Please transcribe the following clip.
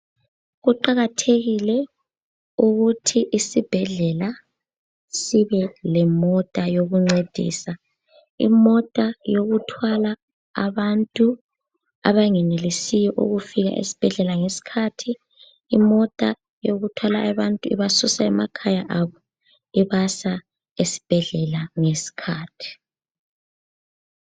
Kuqakathekile ukuthi isibhedlela sibelemota yokuncedisa. Imota yokuthwala abantu abangenelisiyo ukufika esibhedlela ngesikhathi, imota yokuthwala abantu ibasusa emakhaya abo ibasa esibhedlela ngesikhathi.